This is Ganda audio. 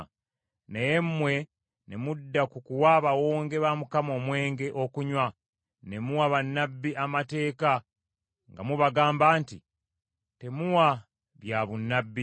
“Naye mmwe ne mudda mu kuwa Abawonge ba Mukama omwenge okunywa, ne muwa bannabbi amateeka nga mubagamba nti temuwa byabunnabbi.